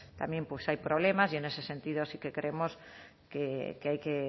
también hay problemas y en ese sentido sí que creemos que hay que